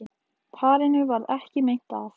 Parinu varð ekki meint af